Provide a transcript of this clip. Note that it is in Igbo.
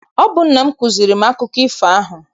Ọ bụ nna m kụziere m akụkọ ifo ahụ.